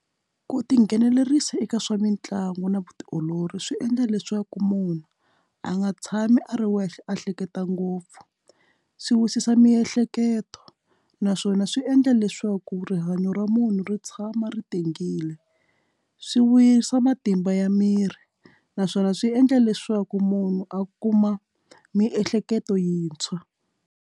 Ku tinghenelerisa eka swa mitlangu na vutiolori swi endla leswaku munhu a nga tshami a ri wexe a hleketa ngopfu swi wisisa miehleketo naswona swi endla na leswaku rihanyo ra munhu ri tshama ri tengile swi wisa matimba ya miri naswona swi endla leswaku munhu a kuma miehleketo yintshwa.